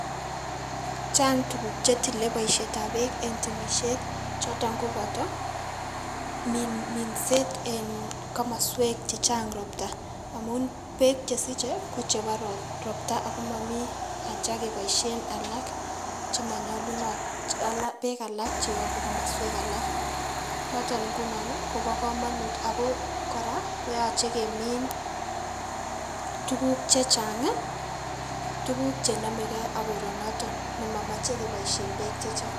Chang tukuk chetile boishet ab peek en temishet choton koboto minset en komoswek chechang roptan amun peek chesiche ko chebo ropta ako momii acha keboishen chemonyolunot, peek alak cheyobu komoswek alak, noton imguno nii kobo komonut ako koraa koyoche kemiin tukuk chechangii tukuk chenomegee ak koronoton nemomoche keboishen peek che chang.